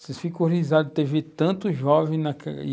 Vocês ficam horrorizados de terem visto tanto jovem.